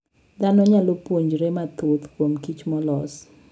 Dhano nyalo puonjore mathoth kuom kich molos.